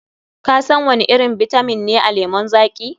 Kasan wani irin bitamin ne a lemon zaƙi?